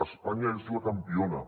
espanya és la campiona